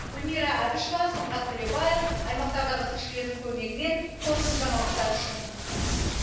гүлмира әбішева сұңғат төлебаев аймақтардағы тілшілердің көмегімен қорытынды жаңалықтар үшін